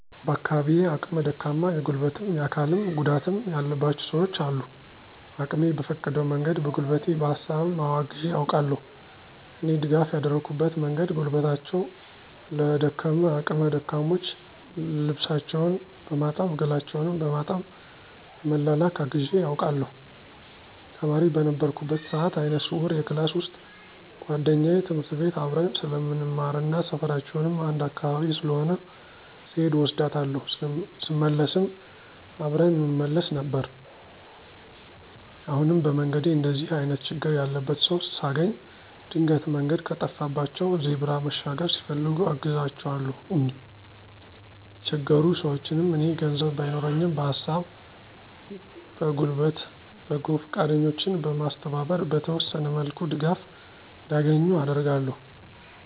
በአካባቢየ አቅመ ደካማ የጉልበትም የአካልም ጉዳትም ያለባቸው ሰውች አሉ። አቅሜ በፈቀደው መንገድ በጉልበቴ በሀሳብም አወ አግዤ አውቃለሁ። እኔ ድጋፍ ያደረኩበት መንገድ ጉልበታቸው ለደከመ አቅመ ደካሞች ልብሳቸውን በማጠብ ገላቸውን በማጠብ በመላላክ አግዤ አውቃለሁ። ተማሪ በነበርኩበት ሰአት አይነ ስውር የክላስ ውሰጥ ጉዋደኛየ ትምህርት ቤት አብረን ስለምንማርና ሰፈራችንም አንድ አካባቢ ስለሆነ ስሔድ እወስዳታለሁ ስመለስም አብረን እንመለስ ነበር። አሁንም በመንገዴ እንደዚህ አይነት ችግር ያለበት ሰው ሳገኝ ድንገት መንገድ ከጠፋባቸው ዜብራ መሻገር ሲፈልጉ አግዛቸዋለሁኝ። የተቸገሩ ሰውችንም እኔ ገንዘብ ባይኖረኝም በሀሳብ በጉልበት በጎ ፈቃደኞችን በማስተባበር በተወሰነ መልኩ ድጋፍ እንዲያገኙ አደርጋለሁ።